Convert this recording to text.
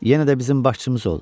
yenə də bizim başçımız ol!